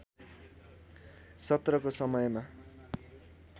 सत्रको समयमा